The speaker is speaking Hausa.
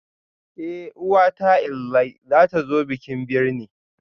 Eh uwata inlayw zatazo bikin birne